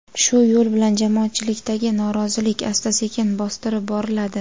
Shu yo‘l bilan jamoatchilikdagi norozilik asta-sekin bostirib boriladi.